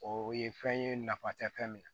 O ye fɛn ye nafa tɛ fɛn min na